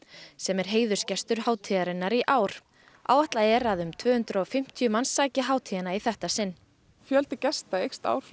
sem er heiðursgestur hátíðarinnar í ár áætlað er að um tvö hundruð og fimmtíu manns sæki hátíðina í þetta sinn fjöldi gesta eykst ár frá